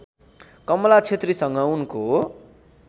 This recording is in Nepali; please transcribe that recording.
कमला क्षेत्रीसँग उनको